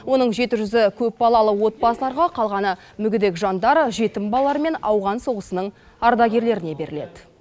оның жеті жүзі көпбалалы отбасыларға қалғаны мүгедек жандар жетім балалар мен ауған соғысының ардагерлеріне беріледі